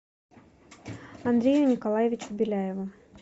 андрею николаевичу беляеву